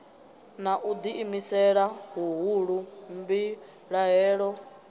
na u ḓiimisela huhulu mbilahelo